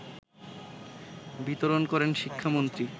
বিতরণ করেন শিক্ষামন্ত্রী